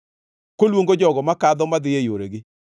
koluongo jogo makadho, madhi e yoregi.